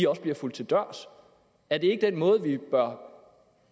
også bliver fulgt til dørs er det ikke den måde vi bør